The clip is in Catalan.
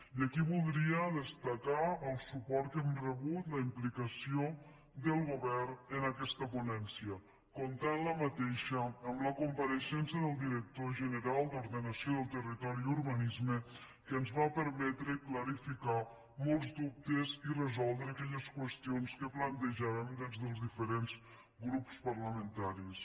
i aquí voldria destacar el suport que hem rebut la implicació del govern en aquesta ponència que va comptar amb la compareixença del director general d’ordenació del territori i urbanisme que ens va permetre clarificar molts dubtes i resoldre aquelles qüestions que plantejàvem des dels diferents grups parlamentaris